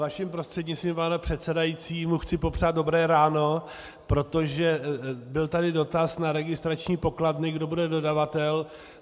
Vaším prostřednictvím, pane předsedající, mu chci popřát dobré ráno, protože byl tady dotaz na registrační pokladny, kdo bude dodavatel.